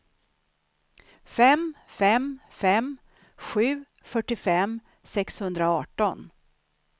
fem fem fem sju fyrtiofem sexhundraarton